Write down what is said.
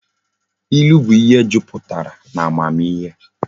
Ilu bu ihe juputara na amamihe